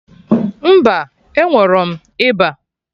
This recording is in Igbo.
Mba, enwerọm ịba